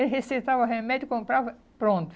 Ele receitava remédio, comprava, pronto.